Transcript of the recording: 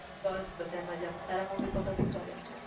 બસ બધા મજામાં. તારા મમ્મી પપ્પા શું કરે છે?